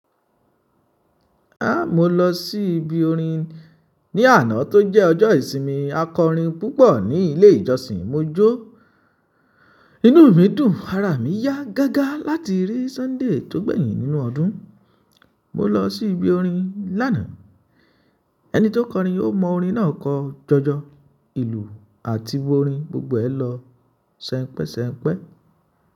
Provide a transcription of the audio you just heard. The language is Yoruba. Mo lọ sí ibi orin ní àná tí ó jẹ́ ọjọ́ ìsinmi. A kọrin púpọ̀ ní ilé ìjọsìn. Mo jó inú mi dùn ara mi yá gágá láti rí Sunday tórí ó gbẹ̀yìn nínú ọdún. Mo lọ sí ibi orin lánàá. Ẹni tí ó kọrin ó mọ orin náà kọ jọjọ. Ìlù àti orin gbogbo ẹ lọ sẹ́npẹ́sẹ́npẹ́.